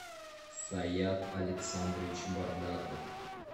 саят александрович бардаков